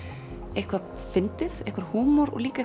eitthvað fyndið einhver húmor og líka